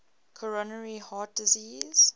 coronary heart disease